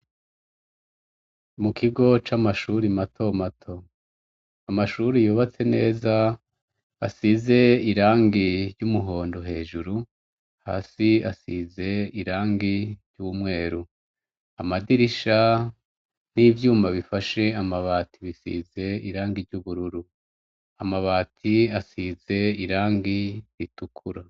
Mu kigo c'amashuri mato mato amashuri yubatse neza asize irangi ry'umuhondo hejuru hasi asize irangi ry'umweru amadirisha n'ivyuma bifashe amabati bisize irangi ry'ubururu amabati asize irangi ritukura.